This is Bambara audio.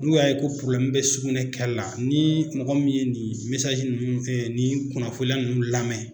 N'u y'a ye ko bɛ sugunɛkɛla la ni mɔgɔ min ye nin ninnu fɛn nin kunnafoliya ninnu lamɛn